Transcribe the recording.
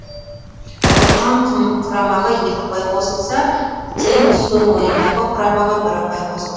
ұтқан құрамаға екі ұпай қосылса тең түскен ойындағы құрамаға бір ұпай қосылған